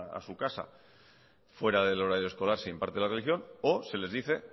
a su casa fuera del horario escolar si imparte la religión o se les dice